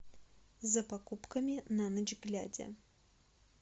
за покупками на ночь глядя